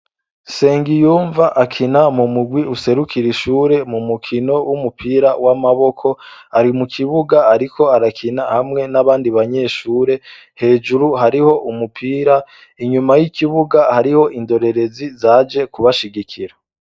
sengiyumva akina mu mugwi userukira ishure mu mukino w'umupira w'amaboko arimukibuga ariko arakina hamwe n'abandi banyeshure hejuru hariho umupira inyuma y'ikibuga hariho indorerezi zaje kubashigikira